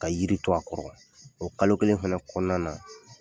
Ka yiri to a kɔrɔ, o kalo kelen fɛnɛ kɔnɔna na